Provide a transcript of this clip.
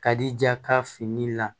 Ka di ja ka fini la